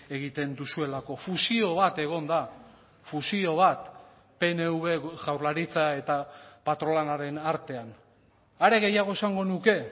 egiten duzuelako fusio bat egon da fusio bat pnv jaurlaritza eta patronalaren artean are gehiago esango nuke